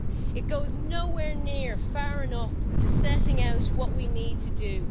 It goes nowhere near far enough to setting out what we need to do.